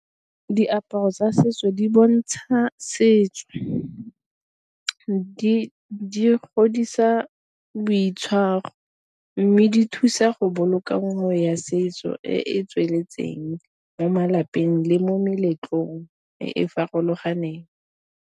Diaparo tsa setso di bontsha setso di godisa boitshwaro, mme di thusa go boloka ngwao ya setso e e tsweletseng mo malapeng le mo meletlong e e farologaneng.